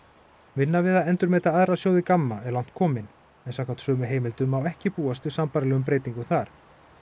vinna við að endurmeta aðra sjóði Gamma er langt komin en samkvæmt sömu heimildum má ekki búast við sambærilegum breytingum þar